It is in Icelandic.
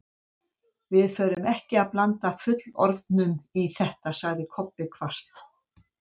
Við förum ekki að blanda fullorðnum í þetta, sagði Kobbi hvasst.